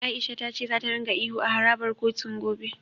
A'isha ta ce za ringa ihu a harabar kotun, gobe.